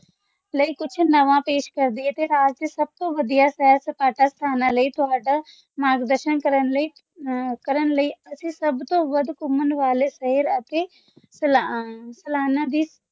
ਲਈ ਕੁਛ ਨਵਾਂ ਪੇਸ਼ ਕਰਦੇ ਇਤਿਹਾਸ ਦੇ ਸਭ ਤੋਂ ਵੱਡਾ ਸੈਰ ਸਪਾਟਾ ਸਥਾਨ ਲਈ ਤੁਹਾਡਾ ਮਾਰਗਦਰਸ਼ਨ ਕਰਨ ਲਈ ਅਸੀਂ ਸਭ ਤੋਂ ਵੱਧ ਘੁੰਮਣ ਵਾਲੇ ਸ਼ਹਿਰ ਅਤੇ ਸਲਾਨਾ ਦੀ